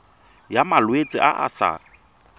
ya malwetse a a sa